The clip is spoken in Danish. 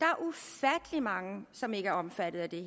en mange som ikke er omfattet af det